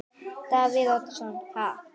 Davíð Oddsson: Ha?